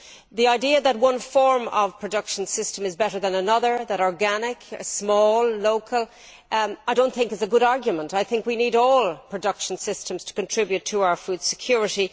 The idea that one form of production system is better than another that organic, small, local is better is not a good argument. We need all production systems to contribute to our food security.